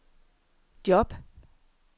job